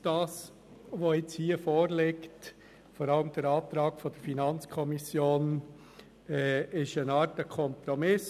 Was hier vorliegt, vor allem aber der Antrag der FiKo, ist eine Art Kompromiss.